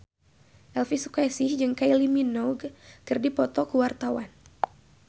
Elvy Sukaesih jeung Kylie Minogue keur dipoto ku wartawan